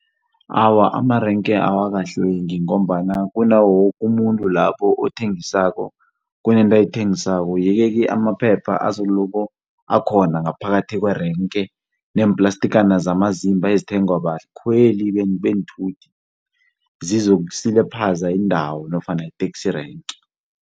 Awa, amerenke awakahlwengi ngombana kunawo woke umuntu lapho othengisako kunento ayithengisako. Yeke-ke amaphepha azoloko akhona ngaphakathi kwerenke neemplastikana zamazimba ezithengwa bakhweli beenthuthi zizokusilaphaza indawo nofana iteksi renki.